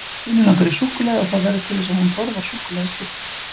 Stínu langar í súkkulaði og það verður til þess að hún borðar súkkulaðistykki.